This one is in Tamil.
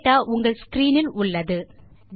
டேட்டா உங்கள் ஸ்க்ரீன் இல் உள்ளது